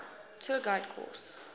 tour guide course